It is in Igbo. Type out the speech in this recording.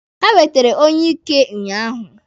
Ha wetere onyeike ụnyaahụ.